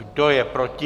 Kdo je proti?